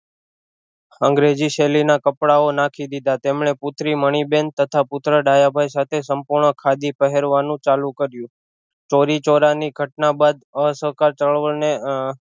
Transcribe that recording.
અંગ્રેજી શેલી ના કપડાઓ નાખી દીધા તેમણે પુત્રી મણિબેન તથા પુત્ર ડાયાભાઈ સાથે સપૂર્ણ ખાદી પહેરવાનું ચાલુ કર્યું ચોરી ચોરા ની ઘટના બાદ અસહકાર ચળવળ ને